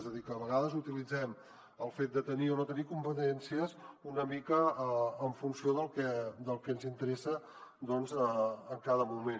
és a dir que a vegades utilitzem el fet de tenir o no tenir competències una mica en funció del que ens interessa en cada moment